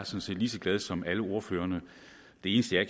set lige så glad som alle ordførerne det eneste jeg